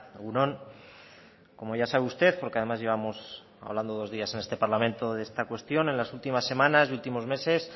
egun on como ya sabe usted porque además llevamos hablando dos días en este parlamento de esta cuestión en las últimas semanas y últimos meses